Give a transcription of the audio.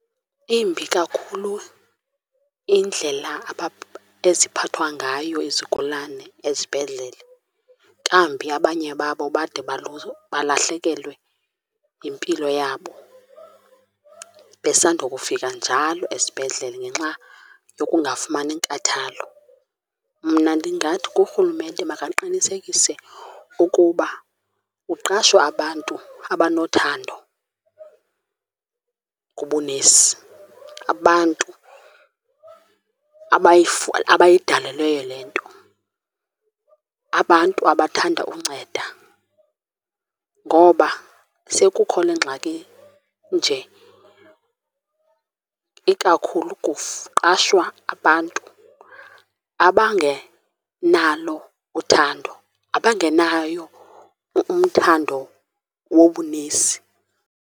Imbi kakhulu indlela eziphathwa ngayo izigulane ezibhedlele, kambi abanye babo bade balahlekelwe yimpilo yabo besandokufika njalo esibhedlele ngenxa yokungafumani nkathalo. Mna ndingathi kurhulumente makaqinisekise ukuba kuqashwa abantu abanothando kubunesi, abantu abayidalelweyo le nto, abantu abathanda unceda. Ngoba sekukho le ngxaki nje ikakhulu qashwa abantu abangenalo uthando, abangenayo umthando wobunesi.